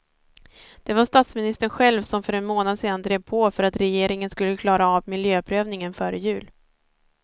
Det var statsministern själv som för en månad sedan drev på för att regeringen skulle klara av miljöprövningen före jul.